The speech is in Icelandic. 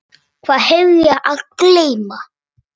Hvað hef ég að geyma?